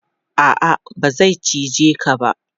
A'a, ba zai cije ka ba.